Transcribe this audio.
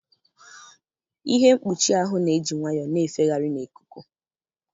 Ihe mkpuchi ahụ na-eji nwayọọ na-efegharị n'ikuku.